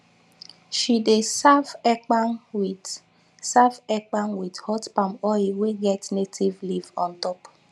she dey serve ekpang with serve ekpang with hot palm oil wey get native leaf on top